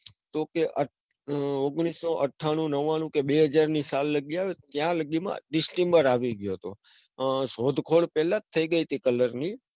તો કે ઓગલીસુ અઠ્ઠાણું નવ્વાણું કે બે હજારની સાલ માં કે જ્યાં તેમાં distember આવી ગયો હતો. હમ શોધખોળ પેલા જ થઇ ગયી હતી colour ની.